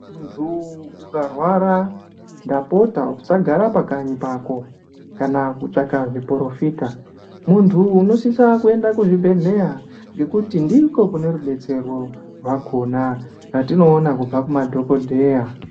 Muntu ukarwara ndapota usagara pakanyi pako kana kutsvaka zviporofita. Muntu unosisa kuenda kuzvibhedhleya ngekuti ndiko kune rubetsero rwakona rwatinoona kubva kumadhogodheya.